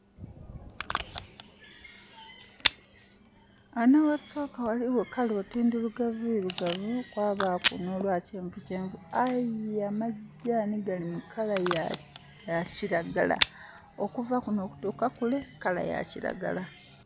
Ghano aghasooka ghaligho colour oti ndhirugavuirugavu, kwabaaku n'olwa kyenvukyenvu. Aye amagyaani gali mu colour ya kiragala. Okuva kuno okutuuka kule, colour ya kiragala.